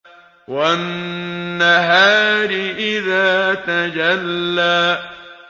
وَالنَّهَارِ إِذَا تَجَلَّىٰ